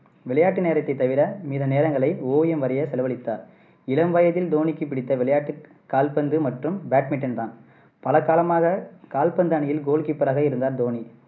விளையாட்டு நேரத்தை தவிர மீத நேரங்களை ஓவியம் வரைய செலவழித்தார் இளம் வயதில் தோனிக்கு பிடித்த விளையாட்டு கால்பந்து மற்றும் பாட்மிண்டன் தான் பல காலமாக கால்பந்து அணியில் goalkeeper ராக இருந்தார் தோனி.